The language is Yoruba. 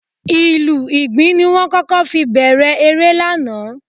Ìlù Ìgbìn ni wọ́n kọ́kọ́ fi bẹ̀rẹ̀ eré lánàá